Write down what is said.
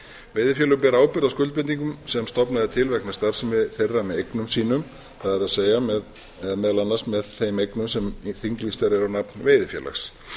veiðifélög bera ábyrgð á skuldbindingum sem stofnað er til vegna starfsemi þeirra með eignum sínum meðal annars með þeim eignum sem þinglýstar eru á nafn veiðifélags